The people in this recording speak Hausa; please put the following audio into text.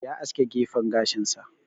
Ya aske gefen gashin sa.